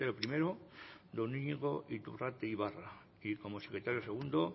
primero don iñigo iturrate ibarra y como secretario segundo